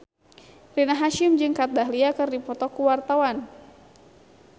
Rina Hasyim jeung Kat Dahlia keur dipoto ku wartawan